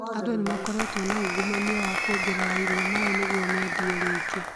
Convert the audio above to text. Andũ ni makoretwo na ungumania wa kuongerera iria maĩ nĩguo medie ringĩ